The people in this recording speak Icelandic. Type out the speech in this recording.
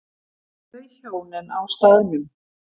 Þau hjónin á staðnum